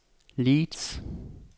Leeds